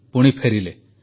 ପୁଣି ଫେରିଲେ